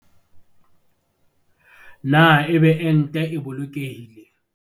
Na ebe ente e boloke hile?